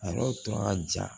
A yɔrɔ tun ka jan